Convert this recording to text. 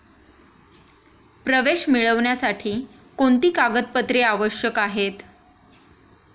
प्रवेश मिळवण्यासाठी कोणती कागदपत्रे आवश्यक आहेत?